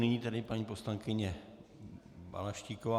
Nyní tedy paní poslankyně Balaštíková.